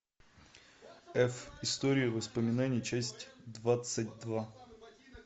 эф история воспоминаний часть двадцать два